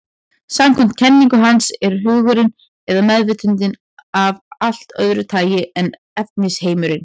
Samkvæmt kenningu hans er hugurinn, eða meðvitundin, af allt öðru tagi en efnisheimurinn.